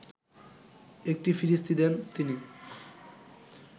একটি ফিরিস্তি দেন তিনি